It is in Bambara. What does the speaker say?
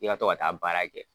F'i ka to ka taa baara kɛ.